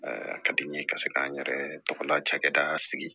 A ka di n ye ka se k'an yɛrɛ tɔgɔ lacɛ da sigi